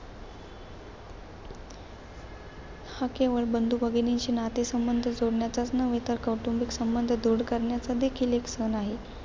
हा केवळ बंधू-भगिनींशी नातेसंबंध जोडण्याचाच नव्हे तर कौटुंबिक संबंध दृढ करण्याचा देखील एक सण आहे.